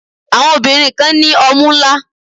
Àwọn obìnrin kan ní ọmú ńlá.